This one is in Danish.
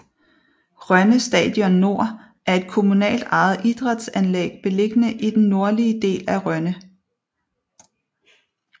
Rønne Stadion Nord er et kommunalt ejet idrætsanlæg beliggende i den nordlige del af Rønne